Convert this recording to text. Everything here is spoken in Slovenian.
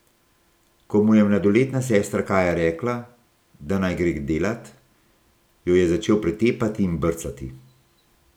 Ko mu je mladoletna sestra Kaja rekla, da naj gre delat, jo je začel pretepati in brcati.